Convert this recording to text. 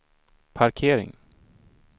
parkering